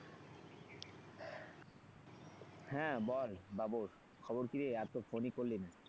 হ্যাঁ, বল বাবর খবর কিরে আর তো phone ই করলি না,